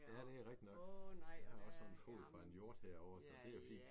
Ja det rigtigt nok. Jeg har også sådan en fod fra en hjort herovre så det jo fint